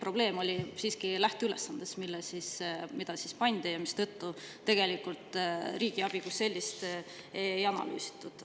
Probleem oli siiski lähteülesandes, mille tõttu riigiabi kui sellist ei analüüsitud.